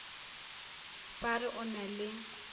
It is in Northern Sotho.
ba re o na le